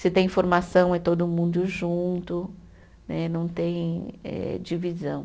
Se tem formação é todo mundo junto né, não tem eh divisão.